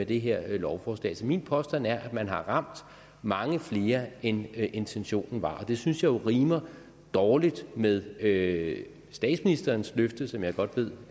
det her lovforslag så min påstand er at man har ramt mange flere end intentionen var det synes jeg jo rimer dårligt med med statsministerens løfte som jeg godt ved